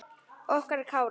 Okkar Kári.